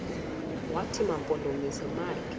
wathi mampondomise makhe